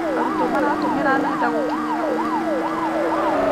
Arutwo maratũmĩra nenda gũkinyĩra ũmenyo makĩria.